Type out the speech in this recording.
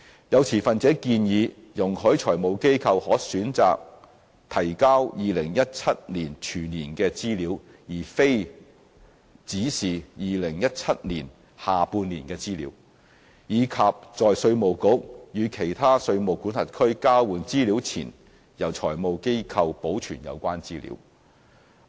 有持份者建議容許財務機構可選擇提交2017年全年的資料，而非只是2017年下半年的資料，以及在稅務局與其他稅務管轄區交換資料前，由財務機構保存有關資料。